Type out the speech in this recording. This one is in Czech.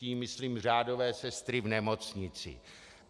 Tím myslím řádové sestry v nemocnicích.